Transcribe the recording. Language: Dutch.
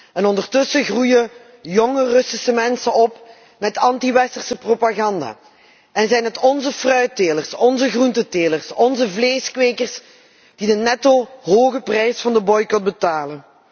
En ondertussen groeien jonge Russische mensen op met antiwesterse propaganda en zijn het onze fruittelers, onze groentetelers, onze vleeskwekers die de netto hoge prijs van de boycot betalen.